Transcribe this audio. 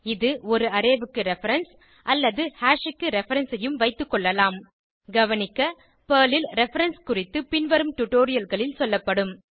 இது ஒரு அரே க்கு ரெஃபரன்ஸ் அல்லது ஹாஷ் க்கு ரெஃபரன்ஸ் ஐயும் வைத்துக்கொள்ளலாம் கவனிக்க பெர்ல் ல் ரெஃபரன்ஸ் குறித்து பின்வரும் டுடோரியல்களில் சொல்லப்படும்